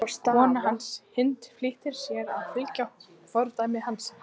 Kona hans, Hind, flýtir sér að fylgja fordæmi hans.